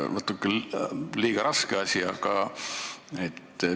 Tagaotsitav on ju inimene, kes on Kabuli kuberner, ja Eesti kaitseväelased on Kabuli regioonis.